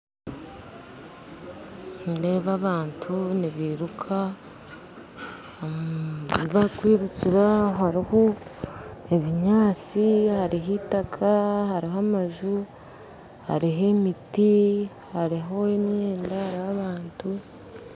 Nindeeba abantu nibairuka ayibakwirukira hariho ebinyaatsi hariho itaka hariho amaju hariho emiti hariho emyenda hariho abantu